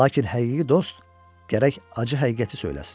Lakin həqiqi dost gərək acı həqiqəti söyləsin.